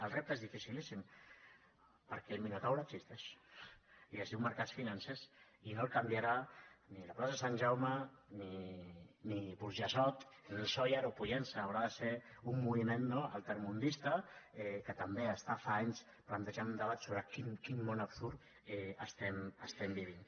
el repte és dificilíssim perquè el minotaure existeix i es diu mercats financers i no el canviarà ni la plaça de sant jaume ni burjassot ni sóller o pollença haurà de ser un moviment no altermundista que també està fa anys plantejant un debat sobre en quin món absurd estem vivint